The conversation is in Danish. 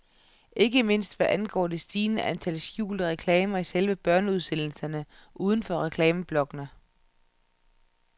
Ikke mindst hvad angår det stigende antal skjulte reklamer i selve børneudsendelserne, uden for reklameblokkene.